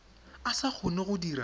a sa kgone go dira